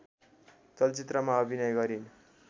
चलचित्रमा अभिनय गरिन्